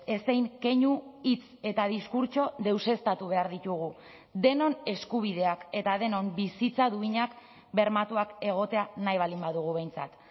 ezein keinu hitz eta diskurtso deuseztatu behar ditugu denon eskubideak eta denon bizitza duinak bermatuak egotea nahi baldin badugu behintzat